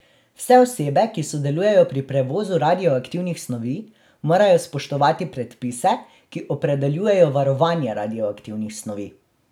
Vse osebe, ki sodelujejo pri prevozu radioaktivnih snovi, morajo spoštovati predpise, ki opredeljujejo varovanje radioaktivnih snovi.